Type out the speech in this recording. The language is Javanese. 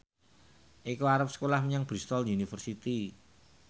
Eko arep sekolah menyang Bristol university